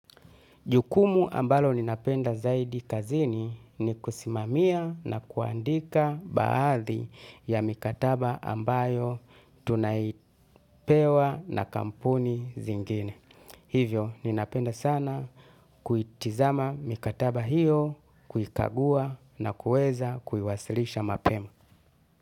Jukumu ambalo ninapenda zaidi kazini ni kusimamia na kuandika baadhi ya mikataba ambayo tunaipewa na kampuni zingine. Hivyo, ninapenda sana kuitizama mikataba hiyo, kukagua na kueza kuiwasilisha mapema.